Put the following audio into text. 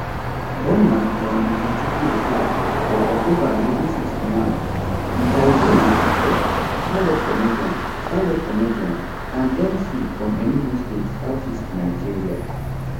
born as john ikechukwu okafor for october 1961 mr ibu na actor standup comedian standup comedian and mc from enugu state southeast nigeria